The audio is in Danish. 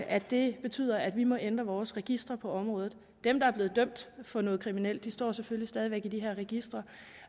at det betyder at vi må ændre vores registre på området dem der er blevet dømt for noget kriminelt står selvfølgelig stadig væk i de her registre